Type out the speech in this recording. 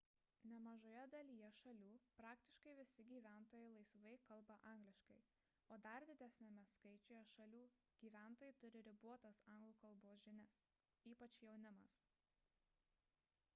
nemažoje dalyje šalių praktiškai visi gyventojai laisvai kalba angliškai o dar didesniame skaičiuje šalių gyventojai turi ribotas anglų kalbos žinias ypač jaunimas